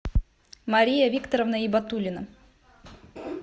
мария викторовна ибатуллина